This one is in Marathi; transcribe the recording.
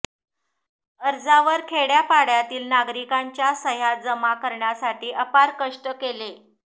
अर्जावर खेडय़ापाडय़ातील नागरिकांच्या सह्या जमा करण्यासाठी अपार कष्ट केले